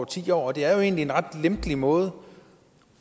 ti år og det er jo egentlig en meget lempelig måde